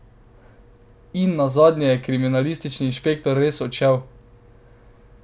In nazadnje je kriminalistični inšpektor res odšel.